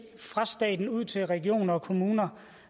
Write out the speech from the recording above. fra staten og ud til regioner og kommuner